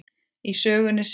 Í sögunni segir: